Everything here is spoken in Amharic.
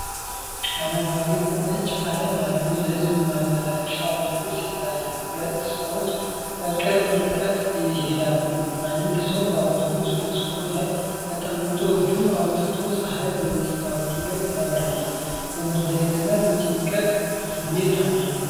አረንጓዴ እና ነጭ ቀለም ያለው የህዝብ ማመላለሻ አውቶቡስ ይታያል። ሁለት ሰዎች በቅርብ ርቀት ይሄዳሉ። አንድ ሰው በአውቶቡስ መስኮት ላይ ተቀምጦ እጁን አውጥቷል፤ ፀሐይ በመስታወቱ ላይ ታበራለች። የመለየትና የጭንቀት ስሜት አለው።